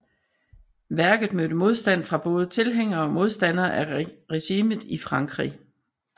Værket mødte modstand fra både tilhængere og modstandere af regimet i Frankrig